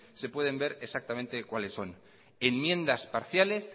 se pueden ver exactamente cuáles son enmiendas parciales